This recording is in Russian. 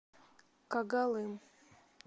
когалым